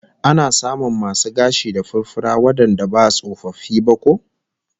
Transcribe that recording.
Ana samun masu gashi da furfura wandanda ba tsofaffi ba ko?